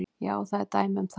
Já, það eru dæmi um það.